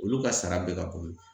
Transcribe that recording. Olu ka sara bɛ ka kɔrɔ